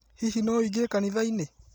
Hihi no ũingĩre kanithainĩ?